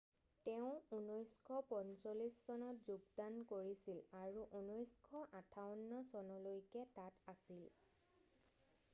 তেওঁ 1945 চনত যোগদান কৰিছিল আৰু 1958 চনলৈকে তাত আছিল